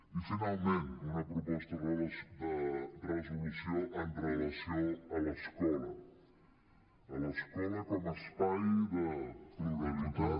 i finalment una proposta de resolució amb relació a l’escola a l’escola com a espai de pluralitat